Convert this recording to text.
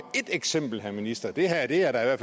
ét eksempel herre minister det her det her er